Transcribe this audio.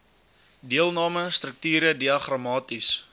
deelname strukture diagramaties